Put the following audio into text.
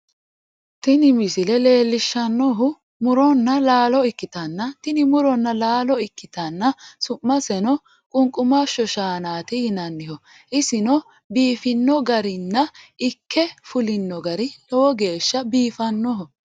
tini misile leellishshannohu muronna laalo ikkitanna, tini muronna laalo ikkitanna su'maseno qunqumashsho shaanaati yinanniho, isino biifino garinna ikke fulino gari lowo geeshsha biifannoho.